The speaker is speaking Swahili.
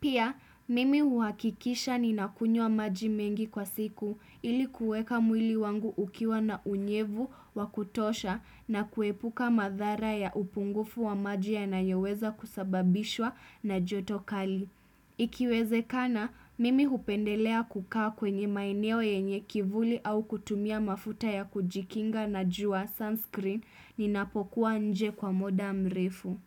Pia, mimi huakikisha ni nakunyua maji mengi kwa siku ili kuweka mwili wangu ukiwa na unyevu wakutosha na kuepuka madhara ya upungufu wa maji ya nayoweza kusababishwa na joto kali. Ikiweze kana, mimi hupendelea kukaa kwenye maeneo yenye kivuli au kutumia mafuta ya kujikinga na jua sunscreen ninapokuwa nje kwa muda mrefu.